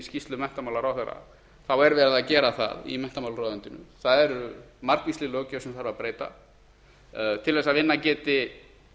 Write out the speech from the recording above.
skýrslu menntamálaráðherra þá er verið að gera það í menntamálaráðuneytinu það er margvísleg löggjöf sem þarf að breyta til þess að vinnan geti